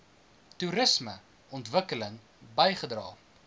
toerisme ontwikkeling bygedra